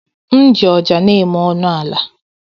M ji ọja na-eme ọnụ ala.